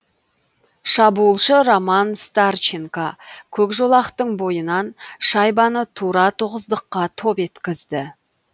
шабуылшы роман старченко көк жолақтың бойынан шайбаны тура тоғыздыққа топ еткізді